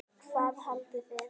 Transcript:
Hvað haldið þið!